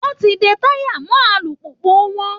Wọn ti ń de táyà mọ́ alùpùpù wọn